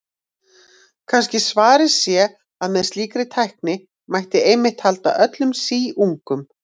Kannski svarið sé að með slíkri tækni mætti einmitt halda öllum síungum.